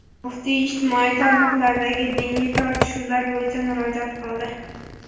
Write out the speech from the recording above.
muftiy ijtimoiy tarmoqlardagi diniy tortishuvlar bo‘yicha murojaat qildi.